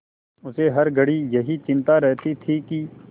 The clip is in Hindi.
उसे हर घड़ी यही चिंता रहती थी कि